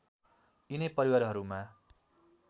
यिनै परिवारहरूमा